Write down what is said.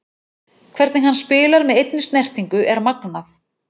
Hvernig hann spilar með einni snertingu er magnað.